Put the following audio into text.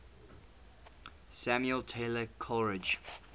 samuel taylor coleridge